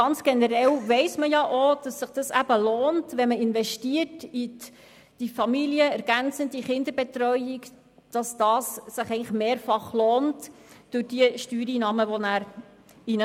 Ganz generell weiss man, dass sich die Investition in die familienergänzende Kinderbetreuung für zusätzliche Steuereinnahmen mehrfach lohnt.